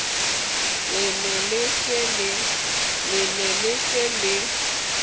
le ne le se le